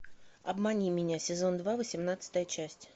обмани меня сезон два восемнадцатая часть